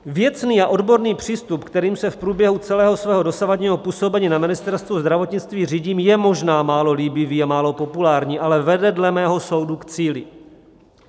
Věcný a odborný přístup, kterým se v průběhu celého svého dosavadního působení na Ministerstvu zdravotnictví řídím, je možná málo líbivý a málo populární, ale vede dle mého soudu k cíli.